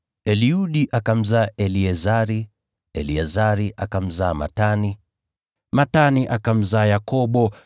Eliudi akamzaa Eleazari, Eleazari akamzaa Matani, Matani akamzaa Yakobo,